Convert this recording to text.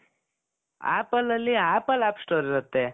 Appleಅಲ್ಲಿ apple play store ಇರುತ್ತೆ.